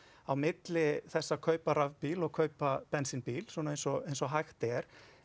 á milli þess að kaupa rafbíl og kaupa bensínbíl eins og eins og hægt er